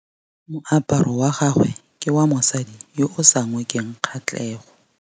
Moaparô wa gagwe ke wa mosadi yo o sa ngôkeng kgatlhegô.